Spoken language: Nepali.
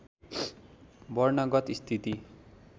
वर्णगत स्थिति